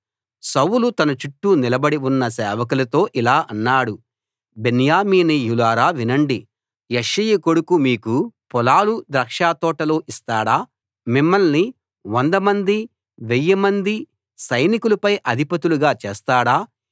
సౌలు తన చుట్టూ నిలబడి ఉన్న సేవకులతో ఇలా అన్నాడు బెన్యామీనీయులారా వినండి యెష్షయి కొడుకు మీకు పొలాలు ద్రాక్షతోటలు ఇస్తాడా మిమ్మల్ని వందమంది వెయ్యిమంది సైనికులపై అధిపతులుగా చేస్తాడా